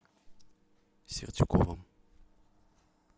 сердюковым